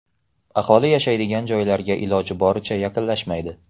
Aholi yashaydigan joylarga iloji boricha yaqinlashmaydi.